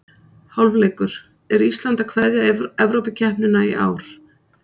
Hálfleikur: Er Ísland að kveðja Evrópukeppnina í ár?